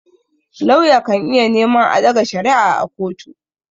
Lauya kan iya neman a ɗaga shari'a a kotu.